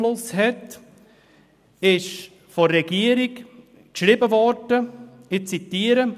Im Vortrag auf Seite 3 können Sie unter «Steuern» lesen – ich zitiere: